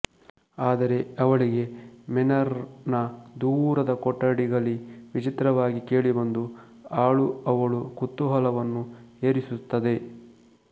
ಆದರೆ ಅವಳಿಗೆ ಮೇನರ್ ನ ದೂರದ ಕೊಠಡಿಗಲಿ ವಿಚಿತ್ರವಾಗಿ ಕೇಳಿಬಂದ ಆಳು ಅವಳ ಕುತೂಹಲವನು ಏರಿಸುತದೆ